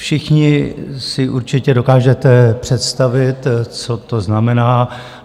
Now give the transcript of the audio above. Všichni si určitě dokážete představit, co to znamená.